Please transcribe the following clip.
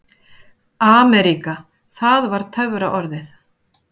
AMERÍKA það var töfraorðið.